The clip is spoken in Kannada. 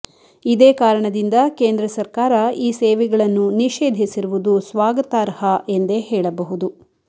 ಇದೇ ಕಾರಣದಿಂದ ಕೇಂದ್ರ ಸರ್ಕಾರ ಈ ಸೇವೆಗಳನ್ನು ನಿಷೇಧಿಸಿರುವುದು ಸ್ವಾಗತಾರ್ಹ ಎಂದೇ ಹೇಳಬಹುದು